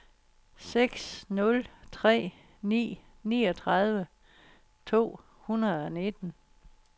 seks nul tre ni niogtredive to hundrede og nitten